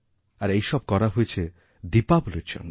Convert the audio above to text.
আর এই সব করা হয়েছে দীপাবলীর জন্য